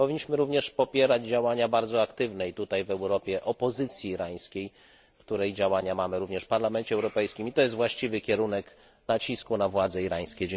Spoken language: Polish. Powinniśmy również popierać działania bardzo aktywnej w Europie opozycji irańskiej, której działania widzimy również w Parlamencie Europejskim, i to jest właściwy kierunek nacisku na władze irańskie.